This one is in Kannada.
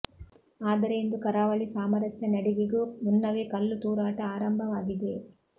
ಆದರೆ ಇಂದು ಕರಾವಳಿ ಸಾಮರಸ್ಯ ನಡಿಗೆಗೂ ಮುನ್ನವೇ ಕಲ್ಲು ತೂರಾಟ ಆರಂಭವಾಗಿದೆ